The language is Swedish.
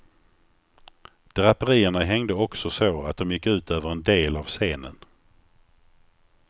Draperierna hängde också så att de gick ut över en del av scenen.